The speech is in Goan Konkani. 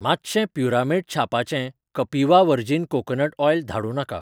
मातशें प्युरामेट छापाचें कपिवा व्हर्जिन कोकोनट ऑयल धाडूं नाका.